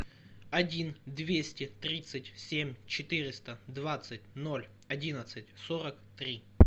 один двести тридцать семь четыреста двадцать ноль одиннадцать сорок три